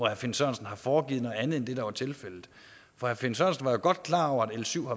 herre finn sørensen har foregivet at anderledes end det der var tilfældet for herre finn sørensen var jo godt klar over at l syv